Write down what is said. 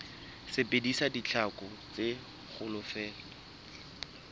sebedisa ditlhaku tse kgolo feela